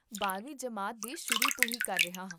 ਬਾਰਵੀਂ ਜਮਾਤ ਦੇ ਸ਼ੁਰੂ ਤੋਂ ਹੀ ਕਰ ਰਿਹਾ ਹਾਂ